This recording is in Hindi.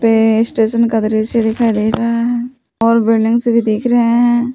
वे स्टेशन का दृश्य दिखाई दे रहा है और बिल्डिंग्स भी दिख रहे हैं।